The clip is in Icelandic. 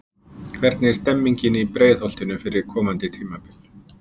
Hvernig er stemningin í Breiðholtinu fyrir komandi tímabili?